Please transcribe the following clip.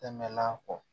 Tɛmɛn'a kɔ